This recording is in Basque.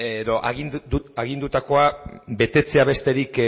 edo agindutakoa betetzea besterik